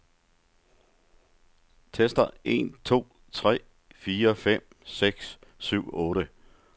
Tester en to tre fire fem seks syv otte.